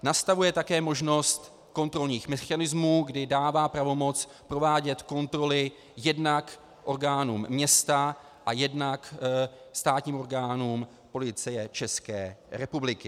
Nastavuje také možnost kontrolních mechanismů, kdy dává pravomoc provádět kontroly jednak orgánům města a jednak státním orgánům Policie České republiky.